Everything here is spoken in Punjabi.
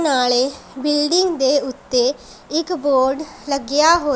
ਨਾਲੇ ਬਿਲਡਿੰਗ ਦੇ ਓੱਤੇ ਇੱਕ ਬੋਰਡ ਲੱਗਿਆ ਹੋ--